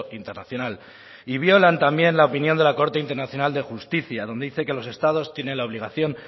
internacional y violan también la opinión de la corte internacional de justicia donde dice que los estados tienen la obligación